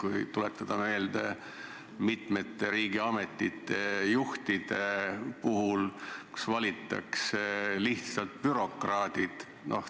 Aga tuletame meelde, mitmete riigiametite juhtide puhul on valitud lihtsalt bürokraadid.